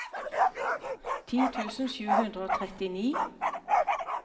ti tusen sju hundre og trettini